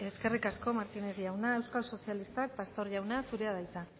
eskerrik asko martínez jauna euskal sozialistak pastor jauna zurea da hitza